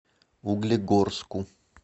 углегорску